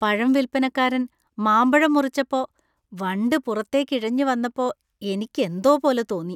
പഴം വിൽപ്പനക്കാരൻ മാമ്പഴം മുറിച്ചുപ്പോ വണ്ട് പുറത്തേക്ക് ഇഴഞ്ഞു വന്നപ്പോ എനിക്ക് എന്തോ പോലെ തോന്നി.